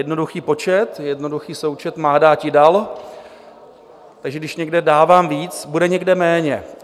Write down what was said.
Jednoduchý počet, jednoduchý součet - má dáti, dal, takže když někde dávám víc, bude někde méně.